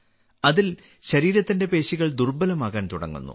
അതിൽ ശരീരത്തിന്റെ പേശികൾ ദുർബലമാകാൻ തുടങ്ങുന്നു